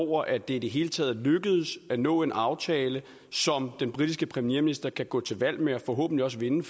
over at det i det hele taget er lykkedes at nå en aftale som den britiske premierminister kan gå til valg med og forhåbentlig også vinde